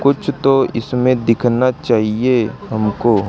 कुछ तो इसमें दिखना चाहिए हमको--